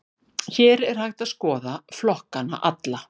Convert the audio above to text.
Hér er hægt að skoða flokkana alla.